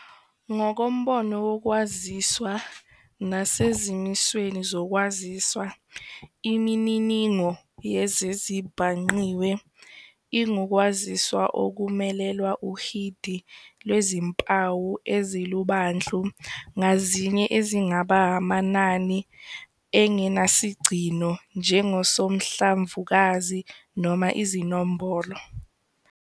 Ngokombono wokwaziswa nasezimisweni zokwaziswa, Imininingo yezezibhangqiwe ingukwaziswa okumelelwa uhidi lwezimpawu ezilubandlu ngazinye ezingaba amanani engenasigcino njengosonhlamvukazi noma izinombolo.